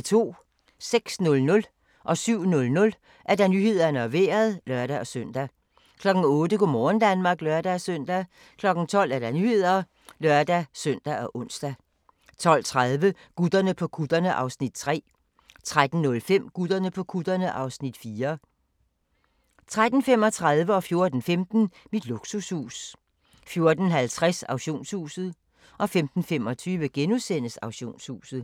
06:00: Nyhederne og Vejret (lør-søn) 07:00: Nyhederne og Vejret (lør-søn) 08:00: Go' morgen Danmark (lør-søn) 12:00: Nyhederne (lør-søn og ons) 12:30: Gutterne på kutterne (Afs. 3) 13:05: Gutterne på kutterne (Afs. 4) 13:35: Mit luksushus 14:15: Mit luksushus 14:50: Auktionshuset 15:25: Auktionshuset *